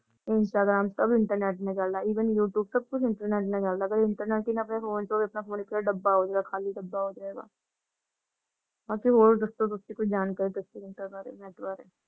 Instagram ਸਬ internet ਨੇ ਡਾਲਾ even youtube ਸਬ ਕੁਛ internet ਡਾਲਾ ਜੇ internet ਹੀ ਨਾ ਹੋ ਫੋਨ ਚੋ ਆਪਣਾ ਫੋਨ ਡੱਬਾ ਹੋਜਾਏਗਾ ਖਾਲੀ ਡੱਬਾ ਹੋਜੇਗਾ ਅੱਸੀ ਹੋਰ ਦੱਸੋ ਕੁਛ ਜਾਣਕਾਰੀ ਦੱਸੋ ਨੇਤ ਬਾਰੇ ।